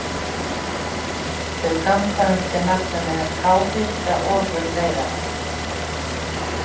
Þau ganga undir nafninu háhitaofurleiðarar.